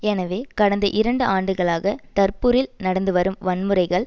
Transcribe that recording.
எனவே கடந்த இரண்டு ஆண்டுகளாக டர்புரில் நடந்து வரும் வன்முறைகள்